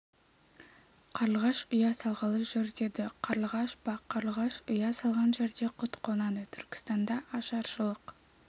қарлығаш ұя салғалы жүр деді қарлығаш па қарлығаш ұя салған жерге құт қонады түркістанда ашаршылық